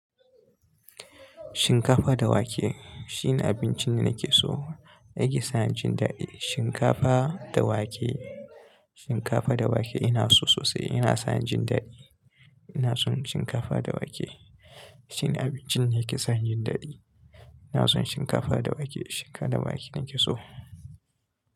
Shinkafa da wake shine abincin da nake so. Yake sani jin daɗi. Shinkafa da wake, shinkafa da wake ina so sosai. Ina son jin daɗi. Ina son shinkafa da wake. Shine abincin nake son jin daɗi. Ina son shinkafa da wake. Shinkafa da wake nake so.